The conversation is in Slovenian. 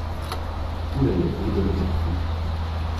Ura je pet do devetih.